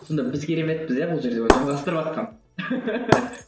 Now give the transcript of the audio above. сонда біз кереметпіз иә бұл жерде жалғастырыватқан